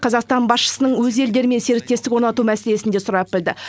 қазақстан басшысының өз елдерімен серіктестік орнату мәселесін де сұрап білді